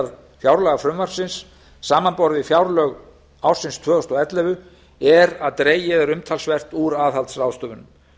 útgjaldahliðar fjárlagafrumvarpsins samanborið við fjárlög ársins tvö þúsund og ellefu er að dregið er umtalsvert úr aðhaldsráðstöfunum